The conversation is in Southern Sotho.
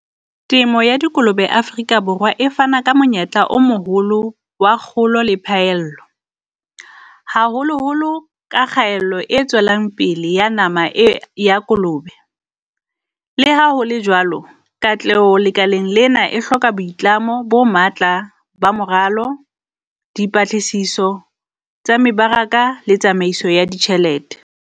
Temo ya dikolobe Afrika Borwa e fana ka monyetla o moholo wa kgolo le phaello, haholoholo ka kgaello e tswelang pele ya nama e ya kolobe. Le ha hole jwalo, katleho lekaleng lena e hloka boitlamo bo matla ba moralo, di patlisiso tsa mebaraka le tsamaiso ya ditjhelete.